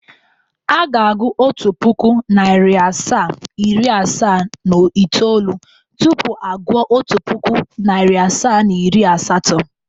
Aga agụụ otu puku, nari asaa, iri asaa na itoolu tupu agu otu puku, nari asaa na iri asatọ.